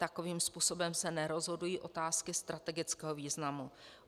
Takovým způsobem se nerozhodují otázky strategického významu.